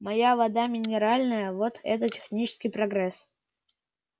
моя вода минеральная вот это технический прогресс